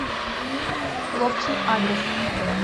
ловчий адрес